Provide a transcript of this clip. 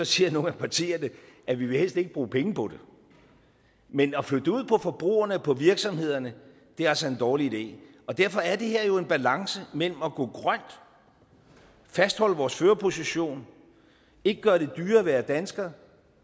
siger nogle af partierne at de helst ikke vil bruge penge på det men at flytte det ud på forbrugerne på virksomhederne er altså en dårlig idé derfor er det her jo en balance mellem at gå grønt fastholde vores førerposition ikke gøre det dyrere at være dansker